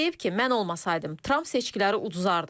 Və deyib ki, mən olmasaydım, Tramp seçkiləri uduzardı.